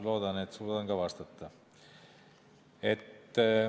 Loodan, et suudan ka vastata.